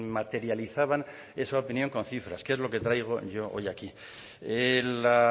materializaban esa opinión con cifras que es lo que traigo yo hoy aquí la